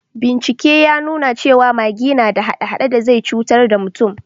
Bincike ya nuna cewa magi na da hade-hade da zai cutar da mutum